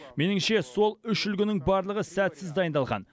меніңше сол үш үлгінің барлығы сәтсіз дайындалған